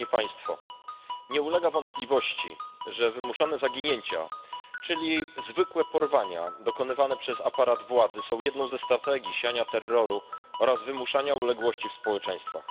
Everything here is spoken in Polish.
Nie ulega wątpliwości, że wymuszone zaginięcia, czyli zwykłe porwania dokonywane przez aparat władzy są jedną ze strategii siania terroru oraz wymuszania uległości w społeczeństwach.